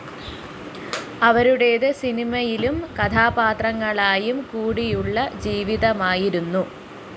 അവരുടേത് സിനിമയിലും കഥാപാത്രങ്ങളായും കൂടിയുള്ള ജീവിതമായിരുന്നു